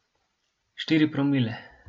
Štiri promile!